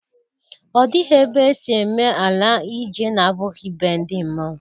Ọ dịghị ebe e si ime ala eje na-abụghị be ndi mmụọ!